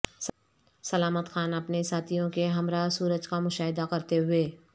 سلامت خان اپنے ساتھیوں کے ہمراہ سورج کا مشاہدہ کرتے ہوئے